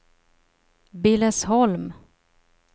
Billesholm